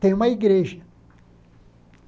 Tem uma igreja.